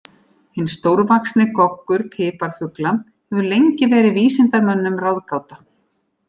Hinn stórvaxni goggur piparfugla hefur lengi verið vísindamönnum ráðgáta.